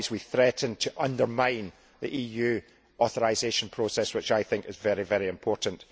Otherwise we threaten to undermine the EU authorisation process which I think is very important.